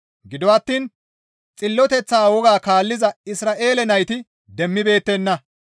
Gido attiin xilloteththa woga kaalliza Isra7eele nayti demmibeettenna.